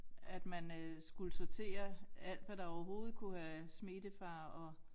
At man øh skulle sortere alt hvad der overhovedet kunne have smittefare og